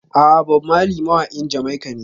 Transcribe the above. A'a, Bob Marley mawaƙin Jamaica ne.